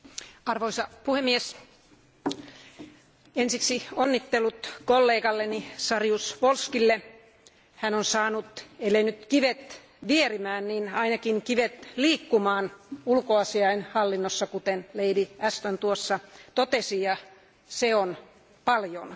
Arvoisa puhemies, ensiksi onnittelut kollegalleni Saryusz Wolskille, hän on saanut ellei nyt kivet vierimään niin ainakin kivet liikkumaan ulkoasiainhallinnossa, kuten Lady Ahston totesi, ja se on paljon.